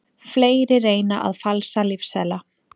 Fleiri reyna að falsa lyfseðla